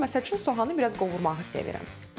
Mən məsəl üçün soğanı biraz qovurmağı sevirəm.